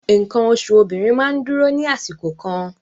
Nǹkan oṣù obìnrin máa ń dúró ní àsìkò kan